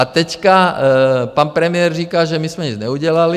A teď pan premiér říká, že my jsme nic neudělali.